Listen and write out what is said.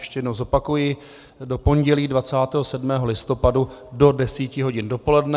Ještě jednou zopakuji: do pondělí 27. listopadu do 10.00 hodin dopoledne.